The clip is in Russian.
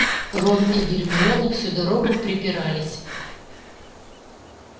рон и гермиона всю дорогу препирались